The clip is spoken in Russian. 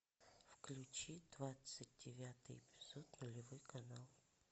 включи двадцать девятый эпизод нулевой канал